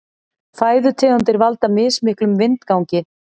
Fæðutegundir valda mismiklum vindgangi.